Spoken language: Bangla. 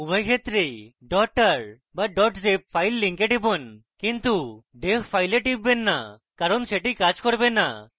উভয় ক্ষেত্রেই tar বা zip file link টিপুন কিন্তু dev file টিপবেন না কারণ সেটি কাজ করবে না